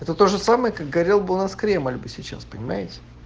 это тоже самое как горел бы у нас кремль бы сейчас понимаете